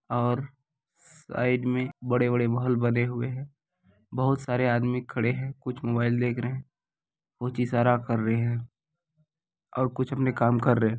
और साइड में बड़े-बड़े महल बने हुए है बहोत सारे आदमी खड़े है कुछ मोबाइल देख रहे है कुछ इशारा कर रहे है और कुछ अपने काम कर रहे है।